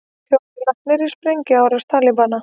Fjórir látnir í sprengjuárás Talibana